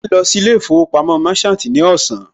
Màá lọ sí ilé ìfowópamọ́ Merchant ní ọ̀sán